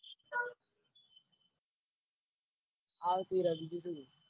આવતી રે બીજું તો હું